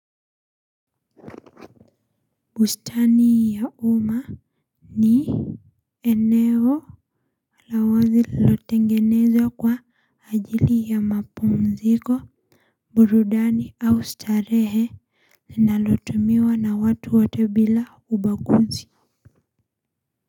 Bustani ya umma ni eneo lawazi lililotengenezwa kwa ajili ya mapumziko, burudani au starehe linalotumiwa na watu wote bila ubaguzi.